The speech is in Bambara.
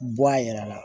Bɔ a yɛrɛ la